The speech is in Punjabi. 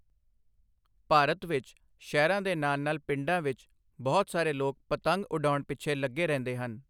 ਭਾਰਤ ਵਿੱਚ, ਸ਼ਹਿਰਾਂ ਦੇ ਨਾਲ ਨਾਲ ਪਿੰਡਾਂ ਵਿੱਚ ਬਹੁਤ ਸਾਰੇ ਲੋਕ ਪਤੰਗ ਉਡਾਉਣ ਪਿੱਛੇ ਲੱਗੇ ਰਹਿੰਦੇ ਹਨ।